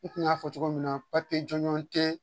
I tun y'a fɔ cogo min na jɔnjɔn tɛ